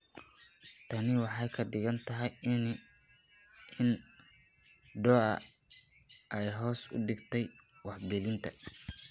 Tani waxay ka dhigan tahay in DOA ay hoos u dhigtay wax gelinta.